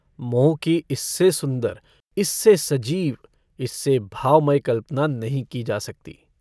मोह को इससे सुन्दर इससे सजीव इससे भावमय कल्पना नहीं की जा सकती।